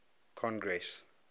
congress